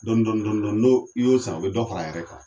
Dɔnni dɔnni no i y'o san, o bi dɔ fara a yɛrɛ kan.